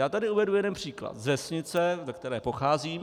Já tady uvedu jeden příklad z vesnice, ze které pocházím.